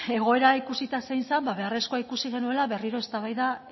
egoera ikusita zein zen ba beharrezkoa ikusi genuela berriro eztabaida